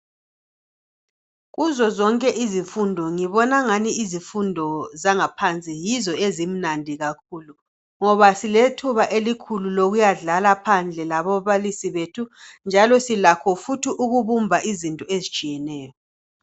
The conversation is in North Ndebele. Kuzo zonke izifundo, ngibon' angani izifundo zangaphansi yizo ezimnandi kakhulu, ngoba silethuba lokuyadlala phandle lababalisi bethu, njalo silakho futhi ukubumba izinto ezitshiyeneyo.